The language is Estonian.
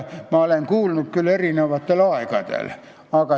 Ma olen neid kuulnud küll eri aegadel.